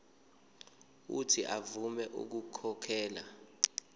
uuthi avume ukukhokhela